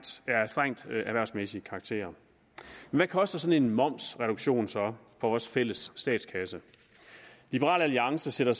erhvervsmæssig karakter hvad koster en sådan momsreduktion så for vores fælles statskasse liberal alliance sætter